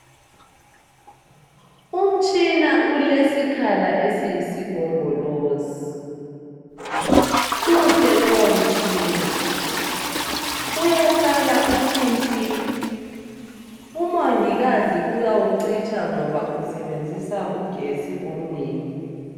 umtshina ulesikhala esiyisigombolozi muhle lowo mtshina uyakhala uthi nti umongikazi uyawucitsha ngoba usebenzisa ugetsi omnengi